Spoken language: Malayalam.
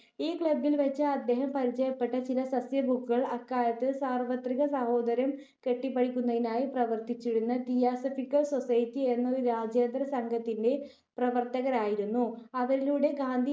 ഈ ക്ലബ്ബിൽ വച്ച് അദ്ദേഹം പരിചയപ്പെട്ട ചില സസ്യഭുക്കുകൾ അക്കാലത്ത് സാർവ്വത്രിക സാഹോദര്യം കെട്ടിപ്പടുക്കുന്നതിനായി പ്രവർത്തിച്ചിരുന്ന തിയോസഫികൽ സൊസൈറ്റി എന്ന ഒരു രാജ്യാന്തര സഘത്തിന്റെ പ്രവർത്തകരായിരുന്നു. അവരിലുടെ ഗാന്ധി